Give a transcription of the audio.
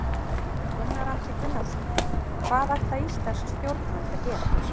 Gunnar Atli Gunnarsson: Hvað ætla íslensk stjórnvöld að gera?